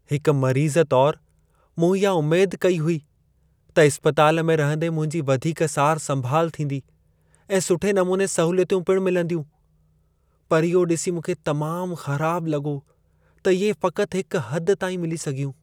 हिकु मरीज़ तौरु, मूं इहा उमेद कई हुई त इस्पताल में रहंदे मुंहिंजी वधीक सार संभाल थींदी ऐं सुठे नमूने सहूलियतूं पिणु मिलंदियूं। पर इहो ॾिसी मूंखे तमामु ख़राबु लॻो त इहे फ़क़ति हिकु हद ताईं मिली सघियूं।